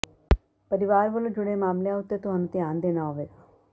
ਪਰਵਾਰ ਵਲੋਂ ਜੁਡ਼ੇ ਮਾਮਲੀਆਂ ਉੱਤੇ ਤੁਹਾਨੂੰ ਧਿਆਨ ਦੇਣਾ ਹੋਵੇਗਾ